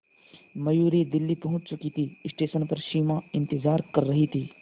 मयूरी दिल्ली पहुंच चुकी थी स्टेशन पर सिमा इंतेज़ार कर रही थी